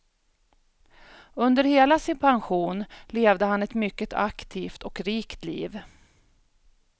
Under hela sin pension levde han ett mycket aktivt och rikt liv.